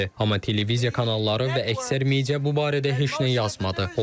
Amma televiziya kanalları və əksər media bu barədə heç nə yazmadı.